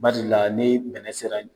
Barila ni bɛnɛ sera